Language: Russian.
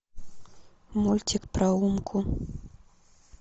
мультик про умку